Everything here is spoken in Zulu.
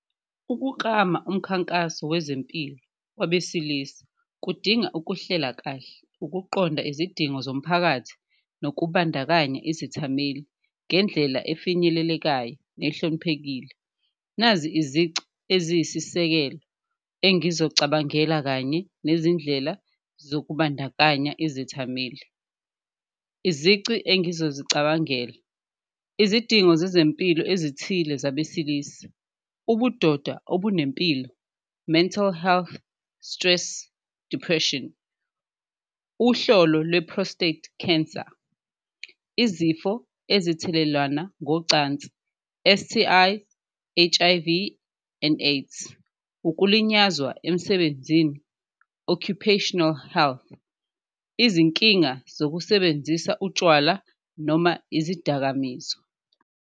Ukuklama umkhankaso wezempilo wabesilisa kudinga ukuhlela kahle, ukuqonda izidingo zomphakathi, nokubandakanya izithameli ngendlela efinyelelekayo nehloniphekile, nazi izici eziyisisekelo engizocabangela kanye nezindlela zokubandakanya izethameli. Izici engizozicabangela, izidingo zezempilo ezithile zabesilisa, ubudoda obunempilo, mental health, stress, depression, uhlolo lwe-prostate cancer, izifo ezithelelana ngocansi, S_T_I, H_I_V and AIDS. Ukulinyazwa emsebenzini, occupational health, izinkinga zokusebenzisa utshwala noma izidakamizwa.